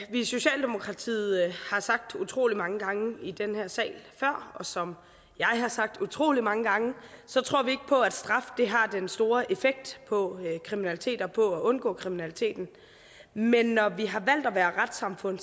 i socialdemokratiet har sagt utrolig mange gange i den her sag og som jeg har sagt utrolig mange gange så tror vi ikke på at straf har den store effekt på kriminalitet og på at undgå kriminaliteten men når vi har valgt at være retssamfund